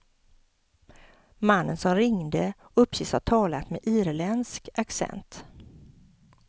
Mannen som ringde uppges ha talat med irländsk accent.